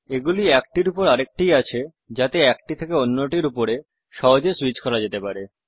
এগুলি একটির উপর আরেকটি আছে যাতে একটা থেকে অন্যটির ওপর সহজে সুইচ করতে যেতে পারে